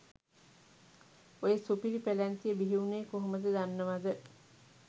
ඔය සුපිරි පැලැන්තිය බිහිවුනේ කොහොමද දන්නවද.